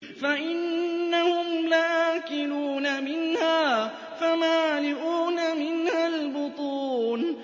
فَإِنَّهُمْ لَآكِلُونَ مِنْهَا فَمَالِئُونَ مِنْهَا الْبُطُونَ